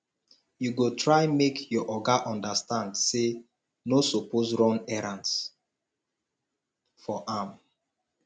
you go try make your oga understand sey no suppose run errands for am